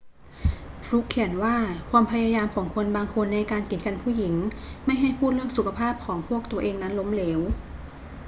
ฟลุกเขียนว่าความพยายามของคนบางคนในการกีดกันผู้หญิงไม่ให้พูดเรื่องสุขภาพของพวกตัวเองนั้นล้มเหลว